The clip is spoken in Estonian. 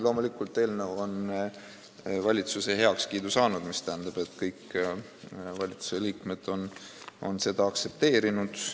Loomulikult, eelnõu on valitsuse heakskiidu saanud, mis tähendab, et kõik valitsusliikmed on seda aktsepteerinud.